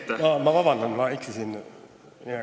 Palun vabandust, ma eksisin!